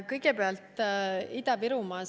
Kõigepealt Ida-Virumaast.